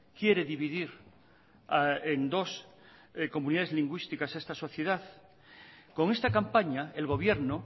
quiere dividir en dos comunidades lingüísticas a esta sociedad con esta campaña el gobierno